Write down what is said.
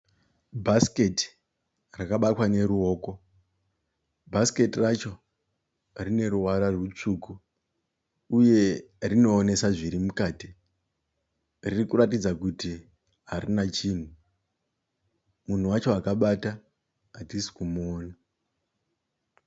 Bhasiketi rakabatwa neruoko. Bhasiketi racho rine ruvara rutsvuku uye rinoonesa zviri mukati. Riri kuratidza kuti harina chinhu. Munhu wacho akabata hatisi kumuona.